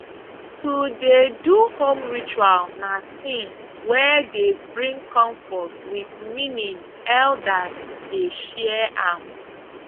to dey do home ritual na thing wey dey bring comfort wit meaning elders dey share am